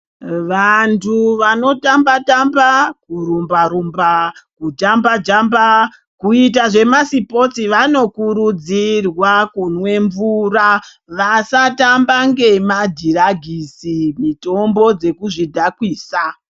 Vantu vanotamba tamba kurumba kujamba Jamba kuita zvemasipotsi vanokurudzirwa kumwe mvura vasatamba nemadhiragisi mitombo dzekuzvidhakwisa.